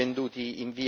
di minore